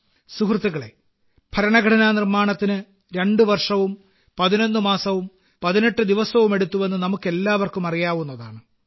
സുഹൃത്തുക്കളേ ഭരണഘടന നിർമ്മാണത്തിന് 2 വർഷവും 11 മാസവും 18 ദിവസവും എടുത്തുവെന്ന് നമുക്കെല്ലാവർക്കും അറിയാവുന്നതാണ്